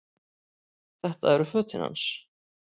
Þetta eru fötin hans!